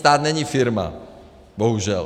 Stát není firma, bohužel.